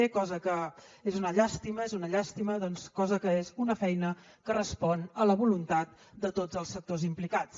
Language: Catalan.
cosa que és una llàstima és una llàstima és una feina que respon a la voluntat de tots els sectors implicats